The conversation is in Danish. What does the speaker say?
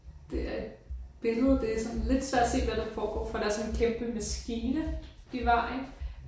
Det er et billede det er sådan lidt svært at se hvad der foregår for der er sådan en kæmpe maskine i vejen